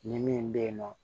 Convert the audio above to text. Ni min bɛ yen nɔ